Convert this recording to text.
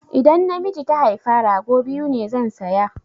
Idan namiji ta haifa, rago biyu ne zan saya